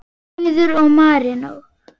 Auður og Marinó.